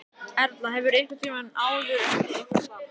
Erla: Hefurðu einhvern tímann áður unnið eitthvað starf?